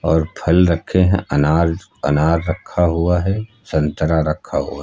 और फल रखे हैं अनार अनार रखा हुआ है संतरा रखा हुआ--